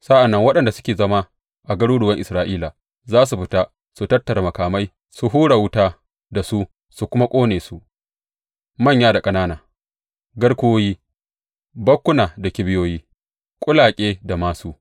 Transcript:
Sa’an nan waɗanda suke zama a garuruwan Isra’ila za su fita su tattara makamai su hura wuta da su su kuma ƙone su, manya da ƙanana garkuwoyi, bakkuna da kibiyoyi, kulake da māsu.